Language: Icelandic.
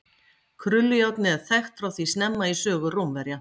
Krullujárnið er þekkt frá því snemma í sögu Rómverja.